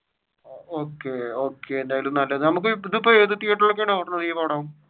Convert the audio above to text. Okay okay ഇപ്പൊ ഏത് തിയേറ്ററിൽ ഒക്കെയാണ് ഓടുന്നത് ഈ പടം.